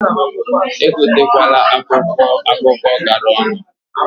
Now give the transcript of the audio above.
Egote kwana akwụkwọ akụkọ gara onu.